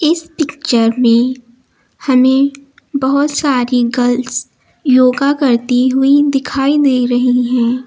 इस पिक्चर में हमें बहोत सारी गर्ल्स योगा करती हुई दिखाई दे रही है।